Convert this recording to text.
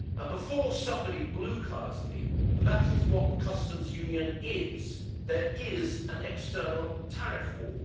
Before anybody blue cards me, that is what the customs union is there is an external tariff wall.